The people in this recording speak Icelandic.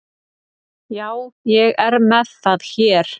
á sama tíma sýndi hann hæfileika í teikningu